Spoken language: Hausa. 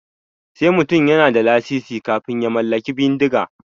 Sai mutum yana da lasisi kafin ya mallaki bindiga.